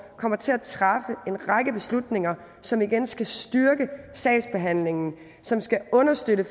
kommer til at træffe en række beslutninger som igen skal styrke sagsbehandlingen som skal understøtte